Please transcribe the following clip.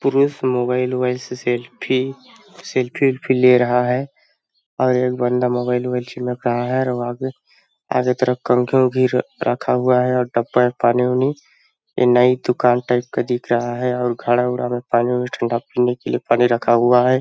पुरुष mobile mobile से selfie सेल्फील्फी ले रहा है और एक बंदा मोबाइल वाइल चिमक रहा है और आगे आगे तरफ कंघियों घीर रखा हुआ है और डब्बा में पानी उनी ये नई दुकान टाइप का दिख रहा है और घड़ा उड़ा में पानी ठंडा पीने के लिए पानी रखा हुआ है।